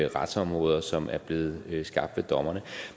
retsområder som er blevet skabt af dommerne